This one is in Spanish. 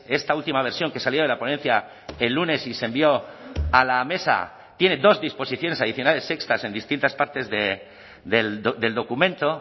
esta última versión que salía de la ponencia el lunes y se envió a la mesa tiene dos disposiciones adicionales sextas en distintas partes del documento